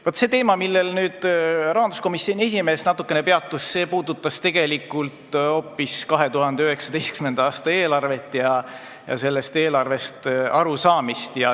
Vaat see teema, millel rahanduskomisjoni esimees natukene peatus, puudutas hoopis 2019. aasta eelarvet ja sellest eelarvest arusaamist.